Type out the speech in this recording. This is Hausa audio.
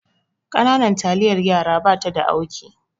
Ƙananan taliyar yaraba ta da auki